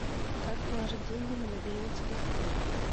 как положить деньги на мобильный телефон